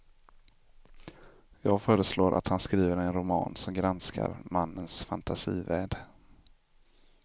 Jag föreslår att han skriver en roman som granskar mannens fantasivärld.